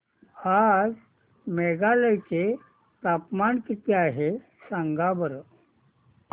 आज मेघालय चे तापमान किती आहे सांगा बरं